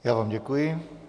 Já vám děkuji.